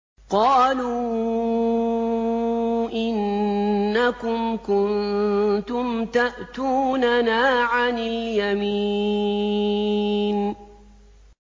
قَالُوا إِنَّكُمْ كُنتُمْ تَأْتُونَنَا عَنِ الْيَمِينِ